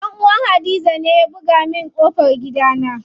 Dan uwan hadiza ne ya buga min ƙofan gidana.